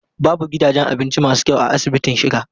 Babu gidajen abinci masu kyau a asibitin Shika.